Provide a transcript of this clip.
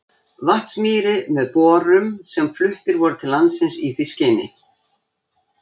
Vatnsmýri með borum sem fluttir voru til landsins í því skyni.